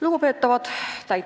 Lugupeetavad!